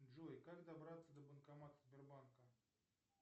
джой как добраться до банкомата сбербанка